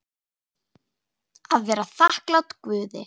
Að vera þakklát Guði.